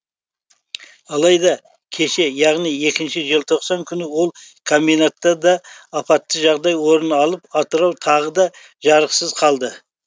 алайда кеше яғни екінші желтоқсан күні ол комбинатта да апатты жағдай орын алып атырау тағы да жарықсыз қалды